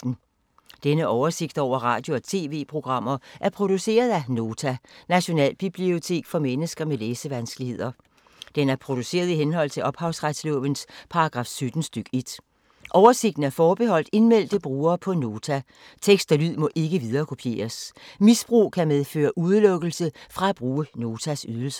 Denne oversigt over radio og TV-programmer er produceret af Nota, Nationalbibliotek for mennesker med læsevanskeligheder. Den er produceret i henhold til ophavsretslovens paragraf 17 stk. 1. Oversigten er forbeholdt indmeldte brugere på Nota. Tekst og lyd må ikke viderekopieres. Misbrug kan medføre udelukkelse fra at bruge Notas ydelser.